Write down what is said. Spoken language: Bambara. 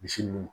Misi ninnu